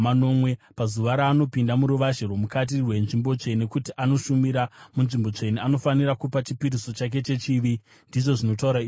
Pazuva raanopinda muruvazhe rwomukati rwenzvimbo tsvene kuti anoshumira munzvimbo tsvene, anofanira kupa chipiriso chake chechivi, ndizvo zvinotaura Ishe Jehovha.